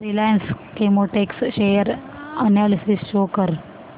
Reliance Chemotex share analysis show कर